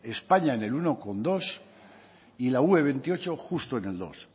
españa en el uno coma dos y la ue veintiocho justo en el dos